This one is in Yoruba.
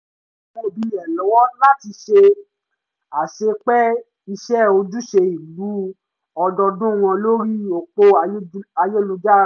ó ran àwọn òbí rẹ̀ lọ́wọ́ láti ṣe àṣepé iṣẹ́ ojúṣe ìlú ọdọọdún wọn lórí òpó ayélujára